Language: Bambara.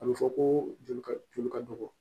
A bɛ fɔ ko joli ka joli ka dɔgɔ